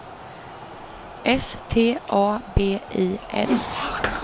S T A B I L